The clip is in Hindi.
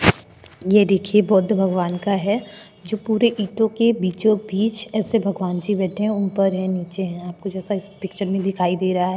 ये देखिए बौद्ध भगवान का है जो पूरे ईंटों के बीचोंबीच ऐसे भगवान जी बैठे हैं ऊपर है नीचे हैं आपको जैसा इस पिक्चर में दिखाई दे रहा है।